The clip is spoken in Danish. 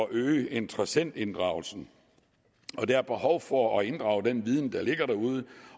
at øge interessentinddragelsen der er behov for at inddrage den viden der ligger derude